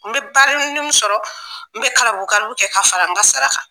N bɛ balini munnu sɔrɔ, n bɛ karamɔgɔ kalulu kɛ ka fara n ka sara kan.